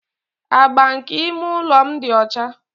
Agba nke ime ụlọ m dị ọcha.